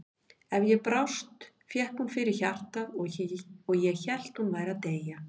Ef ég brást fékk hún fyrir hjartað og ég hélt að hún væri að deyja.